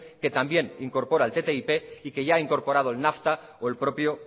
que también incorpora el ttip y que ya ha incorporado el nafta o el propio